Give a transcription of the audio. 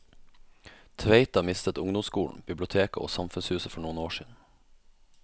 Tveita mistet ungdomsskolen, biblioteket og samfunnshuset for noen år siden.